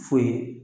Foyi